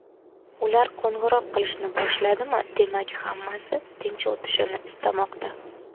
Ular qo‘ng‘iroq qilishni boshladimi, demak, hammasi tinch o‘tishini istamoqda.